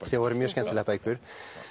sem voru mjög skemmtilegar bækur